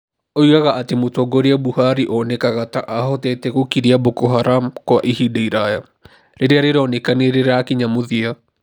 Oigaga atĩ mũtongoria Buhari onekaga ta ahotete gũkiria Boko Haram kwa ihinda iraya. Rĩrĩa rĩroneka nĩ rĩrakinya mũthia.